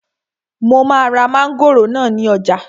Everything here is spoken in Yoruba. Mo máa ra mángòrò náà ní ọjà